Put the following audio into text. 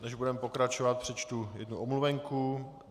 Než budeme pokračovat, přečtu jednu omluvenku.